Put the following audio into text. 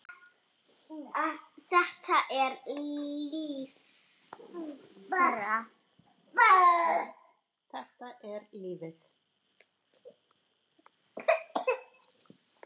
Þetta er lífið.